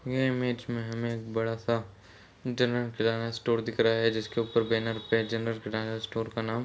यह इमेज में हमें एक बड़ा सा जनरल किराना स्टोर दिख रहा है जिसके ऊपर बैनर पे जनरल किराना स्टोर का नाम--